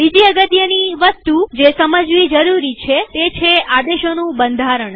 બીજી અગત્યની વસ્તુ જે સમજવી જરૂરી છેતે છે આદેશોનું બંધારણ